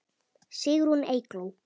Sigrún Eygló.